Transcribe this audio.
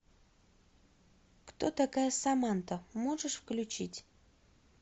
кто такая саманта можешь включить